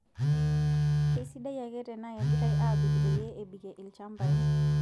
Keisidai ake tenaa kegiraya aapik peyie ebikie ilchampai.